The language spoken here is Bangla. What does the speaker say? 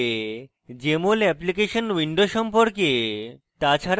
jmol অ্যাপ্লিকেশন উইন্ডো সম্পর্কে তাছাড়া